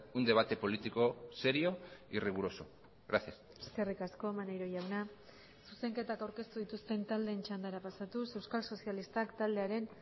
un debate político serio y riguroso gracias eskerrik asko maneiro jauna zuzenketak aurkeztu dituzten taldeen txandara pasatuz euskal sozialistak taldearen